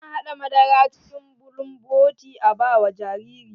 Ana haɗa madara cikin bulumboti a ba wa jariri.